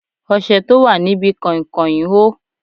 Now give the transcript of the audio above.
Ọṣẹ tó wà níbi kain kain hó.